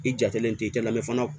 I jatelen tɛ i tɛ lamɛn fana